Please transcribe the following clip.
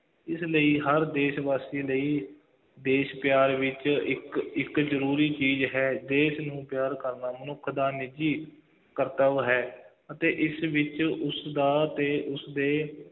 ਇਸ ਲਈ ਹਰ ਦੇਸ਼ ਵਾਸੀ ਲਈ ਦੇਸ਼ ਪਿਆਰ ਵਿੱਚ ਇੱਕ, ਇੱਕ ਜ਼ਰੂਰੀ ਚੀਜ਼ ਹੈ, ਦੇਸ਼ ਨੂੰ ਪਿਆਰ ਕਰਨਾ, ਮਨੁੱਖ ਦਾ ਨਿੱਜੀ ਕਰਤੱਵ ਹੈ ਅਤੇ ਇਸ ਵਿੱਚ ਉਸਦਾ ਅਤੇ ਉਸਦੇ